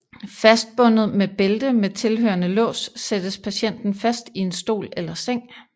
Fastbundet med bælte med tilhørende lås sættes patienten fast i en stol eller seng